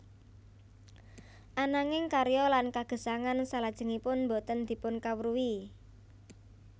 Ananging karya lan kagesangan salajengipun boten dipunkawruhi